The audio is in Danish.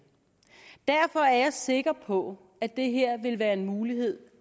derfor er jeg sikker på at det her vil være en mulighed